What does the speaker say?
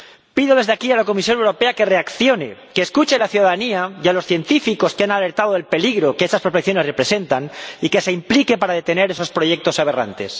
Pido desde aquí a la Comisión Europea que reaccione, que escuche a la ciudadanía y a los científicos que han alertado del peligro que esas prospecciones representan y que se implique para detener esos proyectos aberrantes.